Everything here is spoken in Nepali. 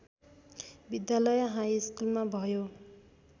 विद्यालय हाइस्कुलमा भयो